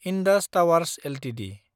Indus Towers Ltd